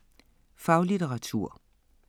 Faglitteratur